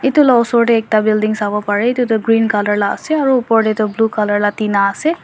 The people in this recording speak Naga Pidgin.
edu la osor tae ekta building sawo parae edu tu green colour la ase aro opor tae tu blue colour la tina ase.